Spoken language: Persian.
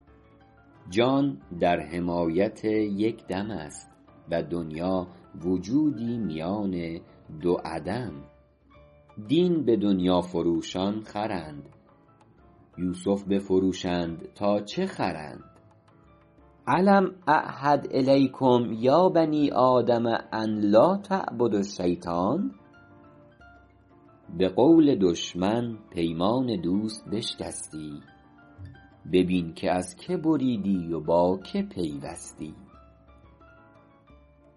جان در حمایت یک دم است و دنیا وجودی میان دو عدم دین به دنیا فروشان خرند یوسف بفروشند تا چه خرند الم اعهد الیکم یا بنی آدم ان لاتعبدوا الشیطان به قول دشمن پیمان دوست بشکستی ببین که از که بریدی و با که پیوستی